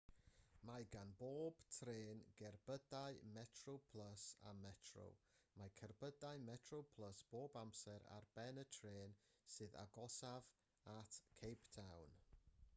mae gan bob trên gerbydau metroplus a metro mae cerbydau metroplus bob amser ar ben y trên sydd agosaf at cape town